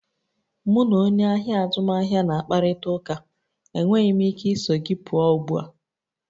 Mụ na onye ahịa azụmaahịa na-akparịta ụka, enweghị m ike iso gị pụọ ugbu a.